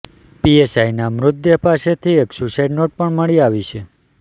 પીએસઆઇના મૃતદેહ પાસેથી એક સુસાઇડ નોટ પણ મળી આવી છે